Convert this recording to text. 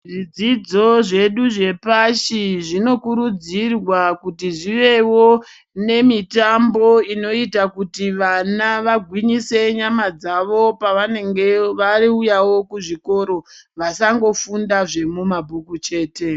Zvidzidzo zvedu zvepashi zvinokurudzirwa kuti zvivewo nemitambo inoita kuti vana vagwinyise nyama dzawo pavanenge veuyawo kuzvikora vasangouya mumabhuku chete.